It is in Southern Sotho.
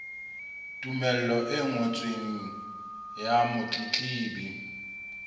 tumello e ngotsweng ya motletlebi